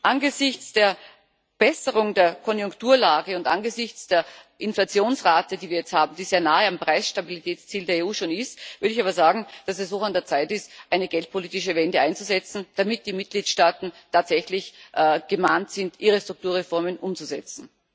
Angesichts der Verbesserung der Konjunkturlage und angesichts der Inflationsrate, die wir jetzt haben, die schon sehr nahe am Preisstabilitätsziel der EU ist, würde ich aber sagen, dass es hoch an der Zeit ist, eine geldpolitische Wende einzuleiten, damit die Mitgliedstaaten tatsächlich gemahnt sind, ihre Strukturreformen umzusetzen.